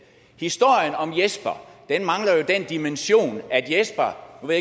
historien om jesper mangler jo den dimension at jesper nu ved